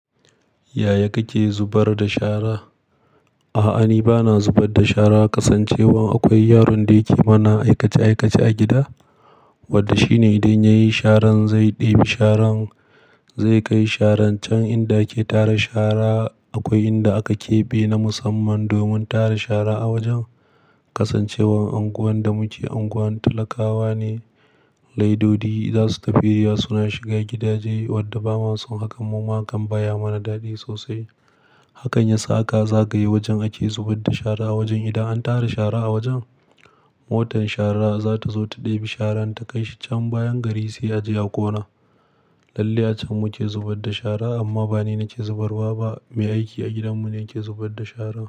Yaya kake zubar da shara? A'a, ni ba na zubar da shara kasancewan akwai yaron da yake mana aikace-aikace a gida, wadda shine idan ya yi sharan zai ɗebi sharan, zai kai sharan can inda ake tara shara. Akwai inda aka keɓe na musamman domin tara shara a wajen kasancewan anguwan da muke unguwar talakawa ne. Laidodi za su tafi ya suna shiga gidaje wadda ba mason hakan mu ma hakan baya mana daɗi sosai. Hakan ya sa aka zagaye wajen ake zubar da shara wajen idan an tara shara a wajen, motar shara za ta zo ta ɗebi sharan ta kai shi can bayan gari sai a je a ƙona. Lallai can muke zubar da shara amma ba ni nake zubarwa ba, mai aiki a gidanmu ne yake zubar da shara.